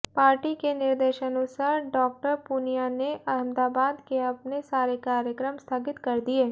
party के निर्देशानुसार Dr Poonia ने अहमदाबाद के अपने सारे कार्यक्रम स्थगित कर दिये